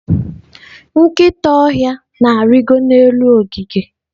nkịta ọhịa na-arịgo n'elu ogige.